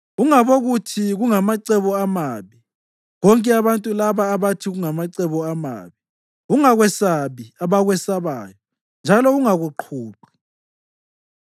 “Ungabokuthi kungamacebo amabi konke abantu laba abathi kungamacebo amabi; ungakwesabi abakwesabayo njalo ungakuqhuqhi.